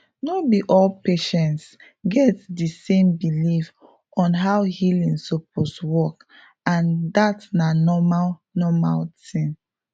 no be all patients get di same belief on how healing suppose work and dat na normal normal thing